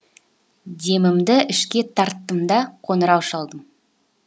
демімді ішке тарттым да қоңырау шалдым